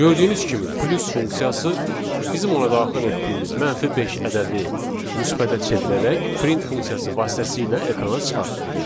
Gördüyünüz kimi plus funksiyası bizim ona daxil etdiyimiz mənfi beş ədədi müsbətə çevirərək print funksiyası vasitəsilə ekrana çıxartdı.